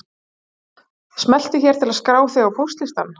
Smelltu hér til að skrá þig á póstlistann